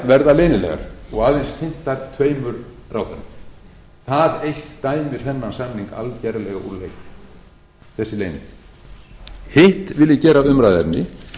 verða leynilegar og aðeins kynntar tveimur ráðherrum það eitt dæmir þennan samning algerlega úr leik þessi leynd hitt vil ég gera að umræðuefni